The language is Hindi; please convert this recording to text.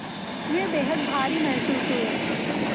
वे बेहद भारी महसूस हुए